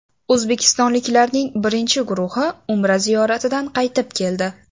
O‘zbekistonliklarning birinchi guruhi Umra ziyoratidan qaytib keldi.